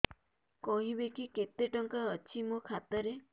କହିବେକି କେତେ ଟଙ୍କା ଅଛି ମୋ ଖାତା ରେ